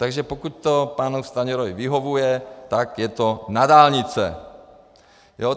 Takže pokud to panu Stanjurovi vyhovuje, tak je to na dálnice!